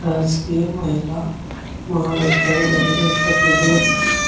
राजकीय महिला महाविद्यालय बदायूं उत्तर प्रदेश।